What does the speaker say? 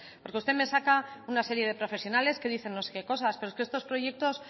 usted me saca una serie de profesionales que dicen no sé qué cosas pero estos proyectos